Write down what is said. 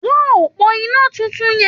Wo òpó iná tuntun yẹn!